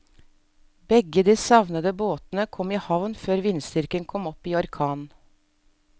Begge de savnede båtene kom i havn før vindstyrken kom opp i orkan.